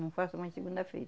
Não faço mais segunda-feira.